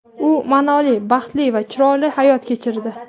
U ma’noli, baxtli va chiroyli hayot kechirdi.